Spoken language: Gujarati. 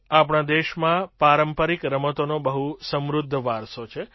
આપણા દેશમાં પારંપરિક રમતોનો બહુ સમૃદ્ધ વારસો છે